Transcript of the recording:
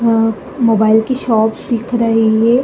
आ mobile की shops दिख रही है।